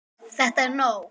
ÞETTA ER NÓG!